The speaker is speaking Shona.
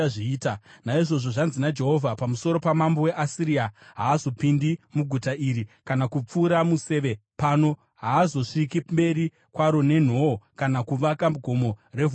“Naizvozvo zvanzi naJehovha pamusoro pamambo weAsiria, “Haazopindi muguta iri kana kupfura museve pano. Haazosviki mberi kwaro nenhoo kana kuvaka gomo revhu pariri.